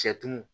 Sɛtu